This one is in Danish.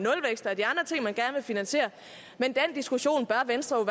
finansiere men den diskussion bør venstre